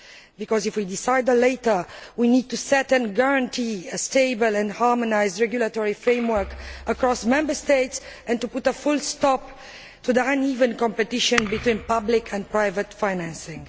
Because if we decide later, we need to establish and guarantee a stable and harmonised regulatory framework across Member States and put a stop to the uneven competition between public and private financing.